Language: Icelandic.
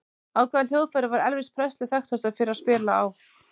Á hvaða hljóðfæri var Elvis Presley þekktastur fyrir að spila á?